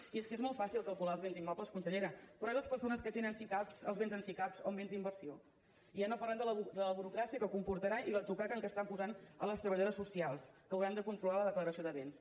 i és que és molt fàcil calcular els béns immobles consellera però i les persones que tenen sicav els béns en sicav o en béns d’inversió i ja no parlem de la burocràcia que comportarà i l’atzucac en què estan posant les treballadores socials que hauran de controlar la declaració de béns